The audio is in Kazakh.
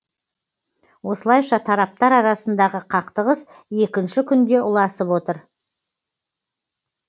осылайша тараптар арасындағы қақтығыс екінші күнге ұласып отыр